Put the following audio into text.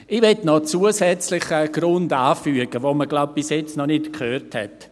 Ich möchte noch einen zusätzlichen Grund anfügen, den wir, so glaube ich, bisher noch nicht gehört haben.